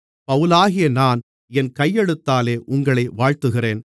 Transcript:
பவுலாகிய நான் என் கையெழுத்தாலே உங்களை வாழ்த்துகிறேன்